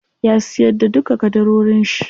Ya siyar da duka ƙadarorin shi.